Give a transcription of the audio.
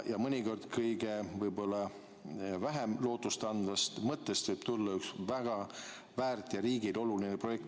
Ja mõnikord võib kõige vähem lootustandvast mõttest tulla väga väärt ja riigile oluline projekti.